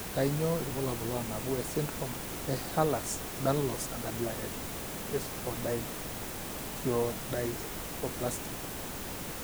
Kainyio irbulabul onaapuku esindirom eEhlers Danlos, enkabila espondylocheirodysplastic?